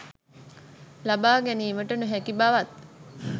ලබා ගැනීමට නොහැකි බවත්